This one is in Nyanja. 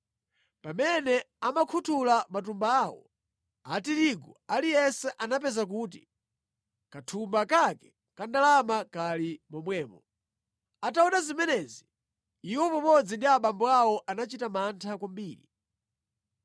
Pamene amakhuthula matumba awo a tirigu aliyense anapeza kuti kathumba kake ka ndalama kali momwemo. Ataona zimenezi, iwo pamodzi ndi abambo awo anachita mantha kwambiri.